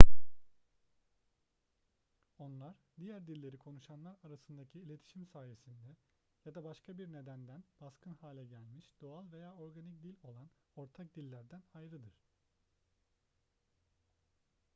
onlar diğer dilleri konuşanlar arasındaki iletişim sayesinde ya da başka bir nedenden baskın hale gelmiş doğal veya organik dil olan ortak dillerden ayrıdır